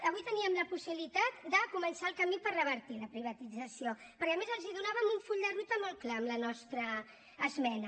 avui teníem la possibilitat de començar el camí per revertir la privatització perquè a més els donàvem un full de ruta molt clar amb la nostra esmena